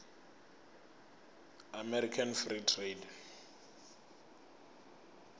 american free trade